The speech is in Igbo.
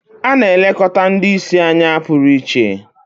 A na-elekọta ndị ìsì anya pụrụ iche